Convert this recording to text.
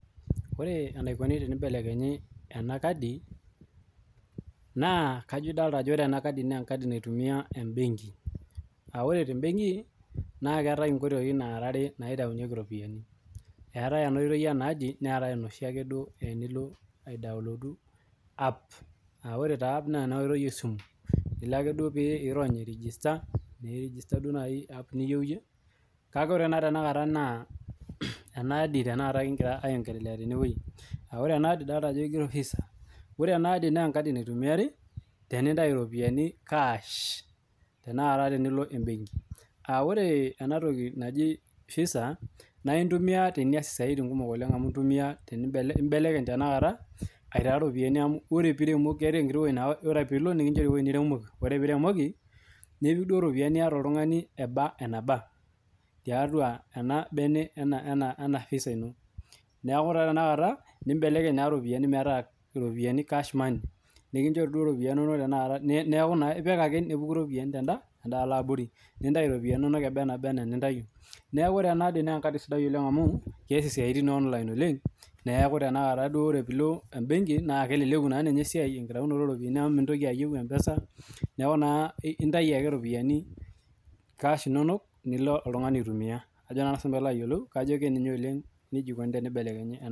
Ore enikoni tenibelekenye ena kadi naa kajo edolita Ajo enkadi naitumi tee [benki aa ore tee benki naa keetae nkoitoi are naitaunyieki eropiani etae enkoitoi ena adi neetae enoshiake oitoi tenilo idoolod app aa ore taa app naa enkoitoi esimu erony naaji ake airegista app niyieu eyie kake ore ena tanakata naa ena edi kigira aionglelea tenewueji aa ore ena adi kigero Visaa ore ena adi naa enaitumiari tenintau eropiani cash tenakata tenilo ebenki aa ore tanakata ena toki naaji visa naa entumia teenias esiatin kumok amu mbelekeny tanakata aitaa eropiani amu keeta ewueji naa etodua pilo nikinjori ewueji niremoki ore pee eremoki nipik eropiani niata eba eneba tiatua ena bene ena visa eno neeku etodua tanakata nibelekeny eropiani metaa cash money nikijorii duo ropiani neeku epik ake nepuku eropiani tedaalo yabori nintau eropiani enono embaa enintayii neeku ore nea adi]naa enkadi sidai oleng amu kias siatin ee online oleng neeku tanakata ore pilo ebenki naa keleleku esiai enkitayunoto oo ropiani amu mintoki ayieu mpesa neeku entayu ake ropiani cash enono nilo oltung'ani aitumia Ajo sinanu pee eyiolou kajo nejia eikoni pee eibelekenye